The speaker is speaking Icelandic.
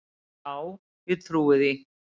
Já, ég trúi því